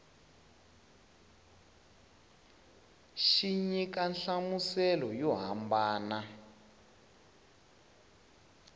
xi nyika nhlamuselo yo hambana